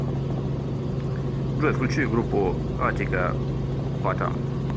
джой включи группу атика патам